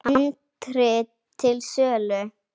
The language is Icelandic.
Handrit til sölu.